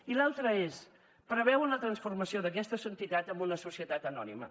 i l’altre és preveuen la transformació d’aquesta entitat en una societat anònima